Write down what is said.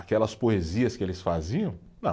Aquelas poesias que eles faziam, não.